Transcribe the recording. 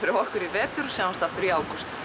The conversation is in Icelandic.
fyrir okkur í vetur og sjáumst aftur í ágúst